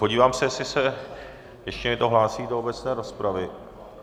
Podívám se, jestli se ještě někdo hlásí do obecné rozpravy.